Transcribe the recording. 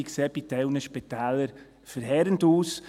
Die sehen bei gewissen Spitälern verheerend aus.